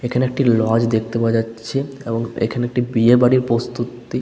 এখানে একটি লজ দেখতে পাওয়া যাচ্ছে এবং এখানে একটি বিয়ে বাড়ির পস্তু-ত্তি--